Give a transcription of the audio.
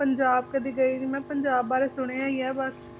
ਪੰਜਾਬ ਕਦੇ ਗਈ ਨੀ ਮੈਂ ਪੰਜਾਬ ਬਾਰੇ ਸੁਣਿਆ ਹੀ ਆ ਬਸ